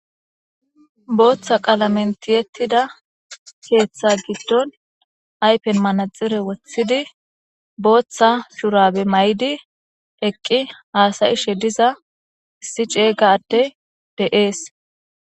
booththa qala mentiyettida keeththa giddon aypen manaxire wothidi booththa shurabe may7di eqqi haasayishe diza issi ceega atte de7ees